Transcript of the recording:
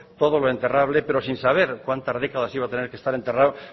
todo lo enterrable pero sin saber cuantas décadas iba a tener que estar enterrado